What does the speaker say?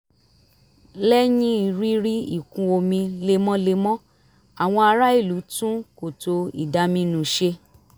lẹ́yìn rírí ìkún omi lemọ́lemọ́ àwọn ará ìlú tún kòtò ìdaminù ṣe